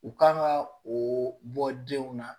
U kan ka o bɔ denw na